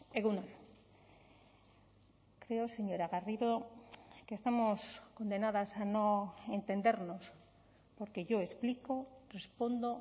egun on creo señora garrido que estamos condenadas a no entendernos porque yo explico respondo